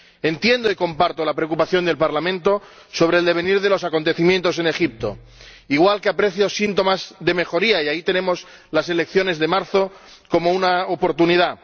Entiendo y comparto la preocupación del Parlamento sobre el devenir de los acontecimientos en Egipto, igual que aprecio síntomas de mejoría —y ahí tenemos las elecciones de marzo como una oportunidad—.